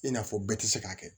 I n'a fɔ bɛɛ tɛ se k'a kɛ